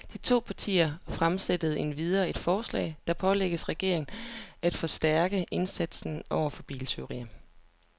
De to partier fremsætter endvidere et forslag, der pålægger regeringen af forstærke indsatsen over for biltyverier.